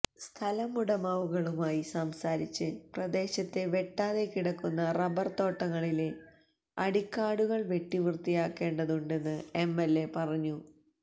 സ്ഥലമുടമകളുമായി സംസാരിച്ച് പ്രദേശത്തെ വെട്ടാതെ കിടക്കുന്ന റബ്ബര് തോട്ടങ്ങളിലെ അടിക്കാടുകള് വെട്ടി വൃത്തിയാക്കേണ്ടതുണ്ടെന്ന് എംഎല്എ പറഞ്ഞു